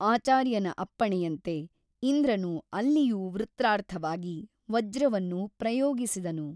ಆಚಾರ್ಯನ ಅಪ್ಪಣೆಯಂತೆ ಇಂದ್ರನು ಅಲ್ಲಿಯೂ ವೃತ್ರಾರ್ಥವಾಗಿ ವಜ್ರವನ್ನು ಪ್ರಯೋಗಿಸಿದನು.